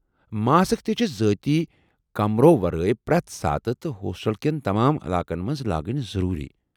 Mask تہِ چھِ ذٲتی كمرو ورٲیہِ پرٮ۪تھ ساتہٕ تہٕ ہوسٹل کٮ۪ن تمام علاقن مَنٛز لاگٕنۍ ضروری ۔